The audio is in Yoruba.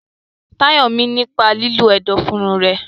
Tayo mí nípa lílo ẹ̀dọ̀fóró rẹ̀.